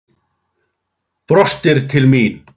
Brostir til mín.